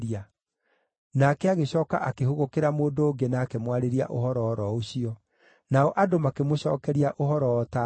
Nake agĩcooka akĩhũgũkĩra mũndũ ũngĩ na akĩmwarĩria ũhoro o ro ũcio, nao andũ makĩmũcookeria ũhoro o ta mbere.